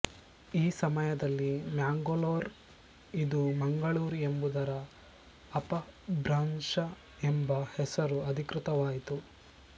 ಈ ಸಮಯದಲ್ಲಿ ಮ್ಯಾಂಗಲೋರ್ ಇದು ಮಂಗಳೂರು ಎಂಬುದರ ಅಪಭ್ರಂಷ ಎಂಬ ಹೆಸರು ಅಧಿಕೃತವಾಯಿತು